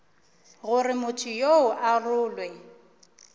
gore motho yoo a rolwe